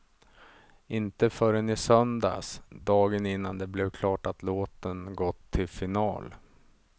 Inte förrän i söndags, dagen innan det blev klart att låten gått till final.